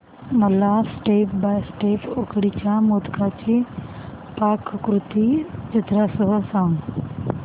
मला step by step उकडीच्या मोदकांची पाककृती चित्रांसह सांग